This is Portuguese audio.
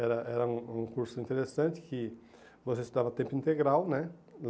Era era um um curso interessante que você estudava tempo integral, né?